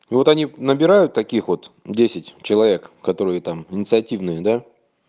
и вот они набирают таких вот десять человек которые там инициативные да